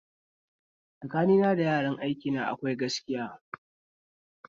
Tsakanina da yaran aikina akwai gaskiya